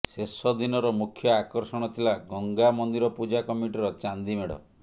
ଶେଷ ଦିନର ମୁଖ୍ୟ ଆକର୍ଷଣ ଥିଲା ଗଙ୍ଗାମନ୍ଦିର ପୂଜା କମିଟିର ଚାନ୍ଦିମେଢ଼